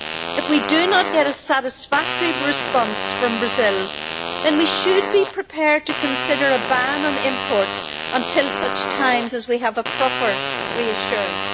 If we do not get a satisfactory response from Brazil, then we should be prepared to consider a ban on imports until such times as we have a proper reassurance.